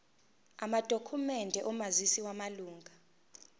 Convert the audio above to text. amadokhumende omazisi wamalunga